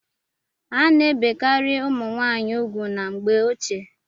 A na-ebekarị ụmụ nwaanyị ugwu na mgbe ochie.